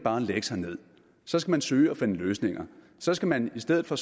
bare lægge sig ned så skal man søge at finde løsninger så skal man i stedet for